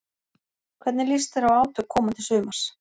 Hvernig líst þér á átök komandi sumars?